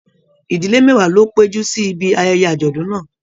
Ìdílé mẹwa ló péjú sí ìbi ayẹyẹ ajọdun náà.